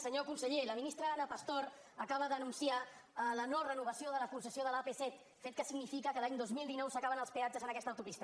senyor conseller la ministra ana pastor acaba d’anunciar la norenovació de la concessió de l’apset fet que significa que l’any dos mil dinou s’acaben els peatges en aquesta autopista